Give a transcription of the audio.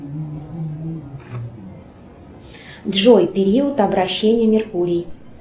джой период обращения меркурий